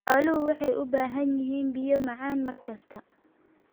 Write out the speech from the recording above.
Xooluhu waxay u baahan yihiin biyo macaan mar kasta.